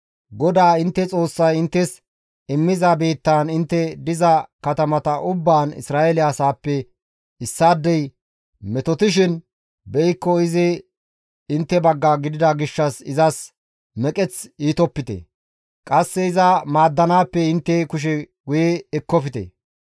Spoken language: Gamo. GODAA intte Xoossay inttes immiza biittaan intte diza katamata ubbaan Isra7eele asaappe issaadey metotishin be7ikko izi intte bagga gidida gishshas izas meqeth iitopite; qasse iza maaddanaappe intte kushe guye ekkofte.